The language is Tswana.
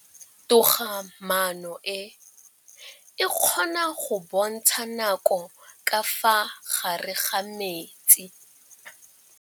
Toga-maanô e, e kgona go bontsha nakô ka fa gare ga metsi.